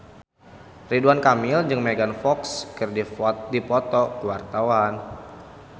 Ridwan Kamil jeung Megan Fox keur dipoto ku wartawan